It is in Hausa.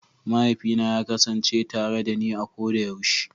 Mahaifina ya kasance tare dani a koda yaushe.